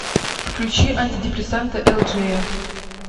включи антидепрессанты элджея